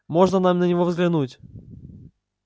можно нам на него взглянуть